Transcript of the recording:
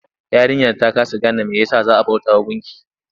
Yarinyar ta kasa game mai ya sa za a bautawa gunki?